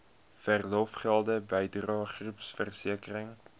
verlofgelde bydrae groepversekering